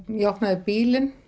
ég opnaði bílinn